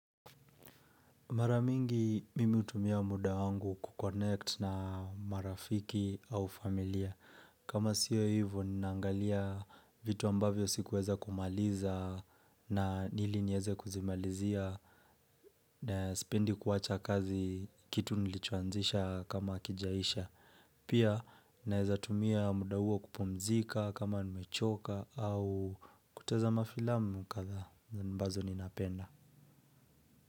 Maramingi mimi hutumia muda wangu kukonnect na marafiki au familia. Kama sio hivo ninaangalia vitu ambavyo sikuweza kumaliza na ili niweze kuzimalizia. Na sipendi kuwacha kazi kitu nilichoanzisha kama hakijaisha. Pia naeza tumia muda huo kupumzika kama nimechoka au kutazama filamu kadhaa ambazo ninapenda.